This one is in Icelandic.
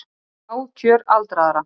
Bág kjör aldraðra